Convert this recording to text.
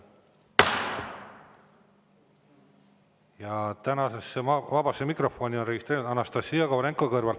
Ja tänasesse vabasse mikrofoni on registreerunud Anastassia Kovalenko-Kõlvart.